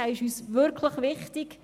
er ist uns wirklich wichtig.